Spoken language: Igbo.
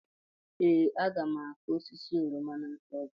ee, aga m akụ osisi oroma n'afọ ọzọ